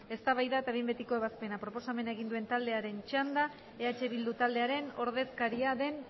eztabaida eta behin betiko ebazpena proposamena egin duen taldearen txanda eh bildu taldearen ordezkaria den